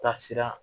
Taasira